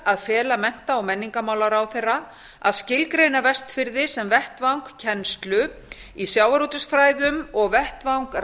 að fela mennta og menningarmálaráðherra að skilgreina vestfirði sem vettvang kennslu í sjávarútvegsfræðum og vettvang